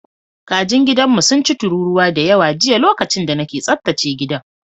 Kajin gidanmu sun ci tururuwa da yawa jiya lokacin da nake tsaftace gidan.